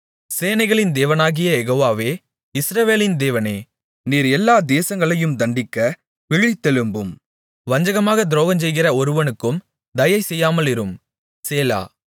சேனைகளின் தேவனாகிய யெகோவாவே இஸ்ரவேலின் தேவனே நீர் எல்லா தேசங்களையும் தண்டிக்க விழித்தெழும்பும் வஞ்சகமாகத் துரோகஞ்செய்கிற ஒருவருக்கும் தயை செய்யாமலிரும் சேலா